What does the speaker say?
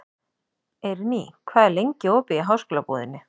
Eirný, hvað er lengi opið í Háskólabúðinni?